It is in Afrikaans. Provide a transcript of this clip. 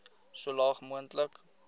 so laag moontlik